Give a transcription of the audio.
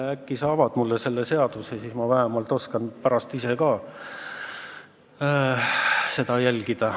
Äkki sa avad mulle selle saladuse, siis ma oskan pärast ise ka seda jälgida.